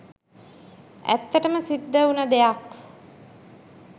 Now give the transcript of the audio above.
ඇත්තටම සිද්ද උන දෙයක්